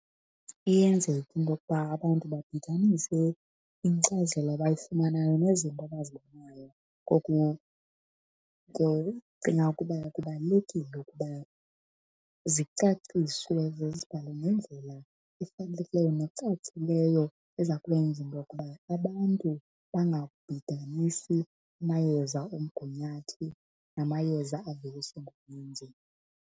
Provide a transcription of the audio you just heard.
Iyenzeka into yokuba abantu babhidanise inkcazelo abayifumanayo nezinto abazibonayo, ngoko ndicinga ukuba kubalulekile ukuba zicaciswe ze zibhalwe ngendlela efanelekileyo necacileyo eza kwenza into yokuba abantu bangabhidanisi amayeza omgunyathi namayeza aveliswa ngumenzi.